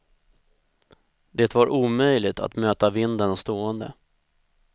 Det var omöjligt att möta vinden stående.